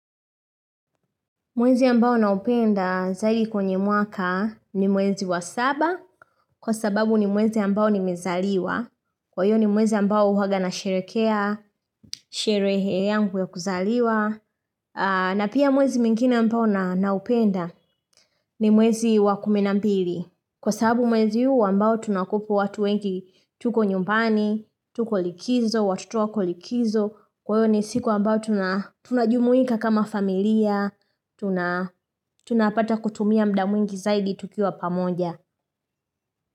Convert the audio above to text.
Mwezi ambao naupenda zaidi kwenye mwaka ni mwezi wa saba kwa sababu ni mwezi ambao ni mezaliwa. Kwa hiyo ni mwezi ambao huwaga nasherekea, sherehe yangu ya kuzaliwa. Na pia mwezi mwingine ambao naupenda ni mwezi wa kumi na mbili. Kwa sababu mwezi huu ambao tunakweko watu wengi, tuko nyumbani, tuko likizo, watoto wako likizo, kwahiyo ni siku ambayo tunajumuika kama familia, tunapata kutumia muda mwingi zaidi tukiwa pamoja.